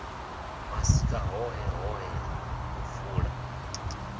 mashika hoṱhe hoṱhe u fula